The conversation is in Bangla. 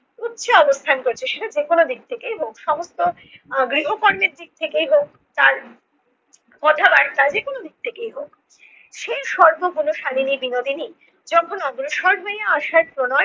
উচ্চে অবস্থান করছে সেটা যেকোনো দিক থেকেই হোক। সমস্ত আহ গৃহকর্মের দিক থেকেই হোক তার কথাবার্তা যেকোনো দিক থেকেই হোক, সে সর্ব গুণশালিনী বিনোদিনী যখন অগ্রসর হইয়া আসার প্রণয়